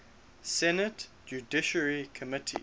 senate judiciary committee